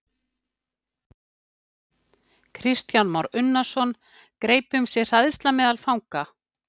Kristján Már Unnarsson: Greip um sig hræðsla meðal fanga?